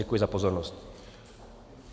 Děkuji za pozornost.